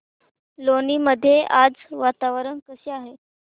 लोणी मध्ये आज वातावरण कसे आहे